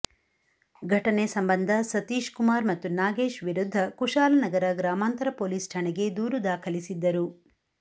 ಘಟನೆ ಸಂಬಂಧ ಸತೀಶ್ ಕುಮಾರ್ ಮತ್ತು ನಾಗೇಶ್ ವಿರುದ್ಧ ಕುಶಾಲನಗರ ಗ್ರಾಮಾಂತರ ಪೊಲೀಸ್ ಠಾಣೆಗೆ ದೂರು ದಾಖಲಿಸಿದ್ದರು